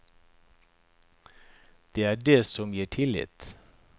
Det er det som gir tillit.